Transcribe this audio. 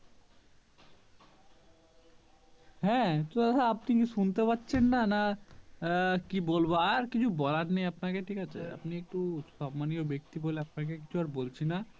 হ্যাঁ তো দাদা আপনি কি শুনতে পাচ্ছেননা না আহ কি বলবো আর কিছু বলার নেই আপনাকে ঠিক আছে তো আপনি একটু সন্মানীয় ব্যাক্তি বলে কিছু আর বলছি না